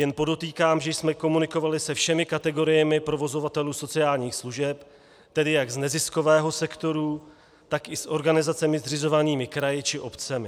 Jen podotýkám, že jsme komunikovali se všemi kategoriemi provozovatelů sociálních služeb, tedy jak z neziskového sektoru, tak i s organizacemi zřizovanými kraji či obcemi.